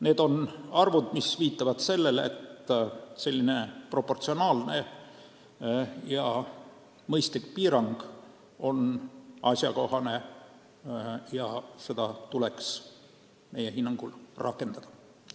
Need on arvud, mis viitavad sellele, et kõnealune proportsionaalne ja mõistlik piirang on asjakohane ning meie hinnangul tuleks seda rakendada.